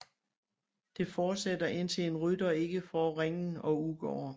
Det fortsætter indtil en rytter ikke får ringen og udgår